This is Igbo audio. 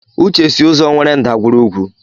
Uche si ụzọ nwere ndagwurugwu.